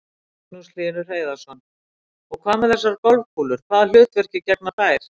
Magnús Hlynur Hreiðarsson: Og hvað með þessar golfkúlur, hvaða hlutverki gegna þær?